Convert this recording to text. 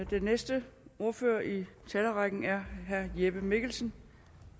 den næste ordfører i talerrækken er herre jeppe mikkelsen